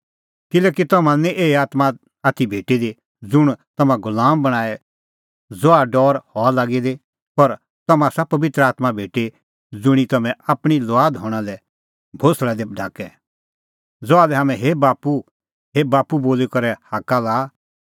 किल्हैकि तम्हां लै निं एही आत्मां आथी भेटी दी ज़ुंण तम्हां गुलाम बणांए ज़हा डौर हआ लागी दी पर तम्हां आसा पबित्र आत्मां भेटी ज़ुंणी तम्हैं आपणीं लुआद हणां लै कल़टी दी ढाकै ज़हा लै हाम्हैं हे बाप्पू हे बाप्पू बोली करै हाक्का लाआ